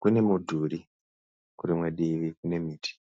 kune mudhuri kurimwe divi kune miti.